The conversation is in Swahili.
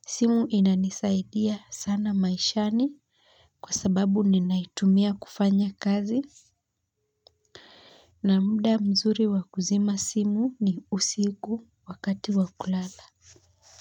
Simu inanisaidia sana maishani kwa sababu ninaitumia kufanya kazi na muda mzuri wa kuzima simu ni usiku wakati wa kulala.